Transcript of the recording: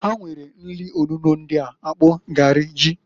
Ha nwere nri onuno ndịa, akpụ, garị, ji.